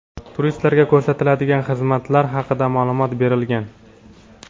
turistlarga ko‘rsatiladigan xizmatlar haqida ma’lumot berilgan.